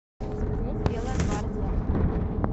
смотреть белая гвардия